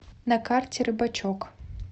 на карте рыбачок